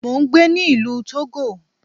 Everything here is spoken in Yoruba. Mo ń gbé ní ìlú Togo.